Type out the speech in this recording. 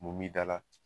Mun b'i da la